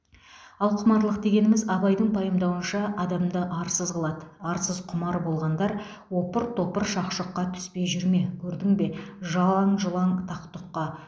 ал құмарлық дегеніміз абайдың пайымдауынша адамды арсыз қылады арсыз құмар болғандар опыр топыр шақ шұққа түспей жүр ме көрдің бе жалаң жұлаң тақ тұққа